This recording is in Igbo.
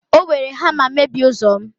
o were hama mebie ụzọ'm